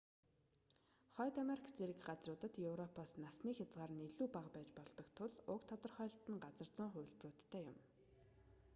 хойд америк зэрэг газруудад европоос насны хязгаар нь илүү бага байж болдог тул уг тодорхойлолт нь газар зүйн хувилбаруудтай юм